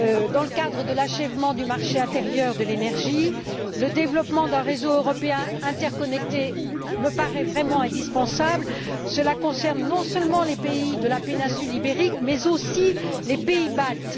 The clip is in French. Dans le cadre de l'achèvement du marché intérieur de l'énergie, le développement d'un réseau européen interconnecté me paraît vraiment indispensable, cela concerne non seulement les pays de la péninsule ibérique, mais aussi les pays baltes.